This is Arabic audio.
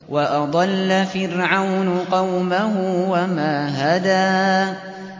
وَأَضَلَّ فِرْعَوْنُ قَوْمَهُ وَمَا هَدَىٰ